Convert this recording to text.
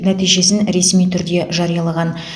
нәтижесін ресми түрде жариялаған